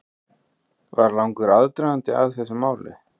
Var langur aðdragandi að þessu máli?